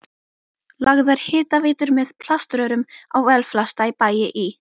lagðar hitaveitur með plaströrum á velflesta bæi í